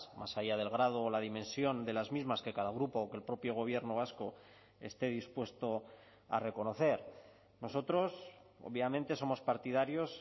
más allá del grado o la dimensión de las mismas que cada grupo o que el propio gobierno vasco esté dispuesto a reconocer nosotros obviamente somos partidarios